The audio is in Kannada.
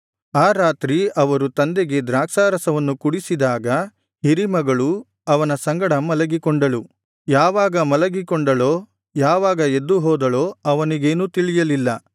ಆ ರಾತ್ರಿ ಅವರು ತಂದೆಗೆ ದ್ರಾಕ್ಷಾರಸವನ್ನು ಕುಡಿಸಿದಾಗ ಹಿರೀ ಮಗಳು ಅವನ ಸಂಗಡ ಮಲಗಿಕೊಂಡಳು ಯಾವಾಗ ಮಲಗಿಕೊಂಡಳೋ ಯಾವಾಗ ಎದ್ದು ಹೋದಳೋ ಅವನಿಗೇನೂ ತಿಳಿಯಲಿಲ್ಲ